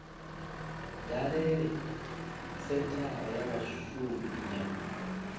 dalele senthara ya vhashumi ya